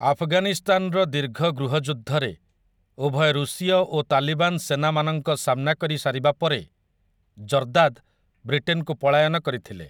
ଆଫଗାନିସ୍ତାନର ଦୀର୍ଘ ଗୃହଯୁଦ୍ଧରେ, ଉଭୟ ରୁଷୀୟ ଓ ତାଲିବାନ ସେନା ମାନଙ୍କ ସାମନା କରି ସାରିବା ପରେ, ଜର୍ଦାଦ୍ ବ୍ରିଟେନକୁ ପଳାୟନ କରିଥିଲେ ।